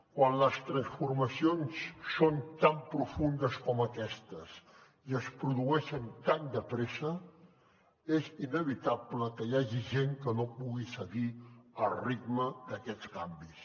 quan les transformacions són tan profundes com aquestes i es produeixen tan de pressa és inevitable que hi hagi gent que no pugui seguir el ritme d’aquests canvis